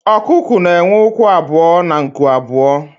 ọkụkọ na enwe ụkwụ abuo na nku abuo